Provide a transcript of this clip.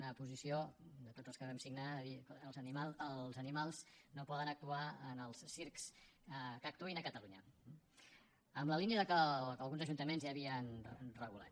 una posició de tots els que vam signar de dir els animals no poden actuar en els circs que actuïn a catalunya en la línia del que alguns ajuntaments ja havien regulat